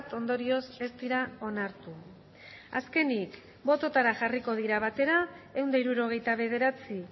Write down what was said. ondorioz ez dira onartu azkenik bototara jarriko dira batera ehun eta hirurogeita bederatzi